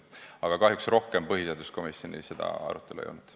Aga kahjuks rohkem põhiseaduskomisjonis seda arutelu ei olnud.